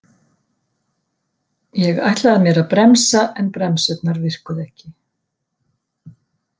Ég ætlaði mér að bremsa en bremsurnar virkuðu ekki